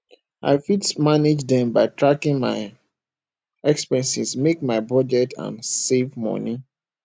i fit manage dem by tracking my expenses make my budget and save money